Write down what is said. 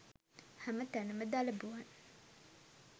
හැම තැනම දලබුවන්